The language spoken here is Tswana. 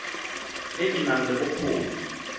e e nang le bokgoni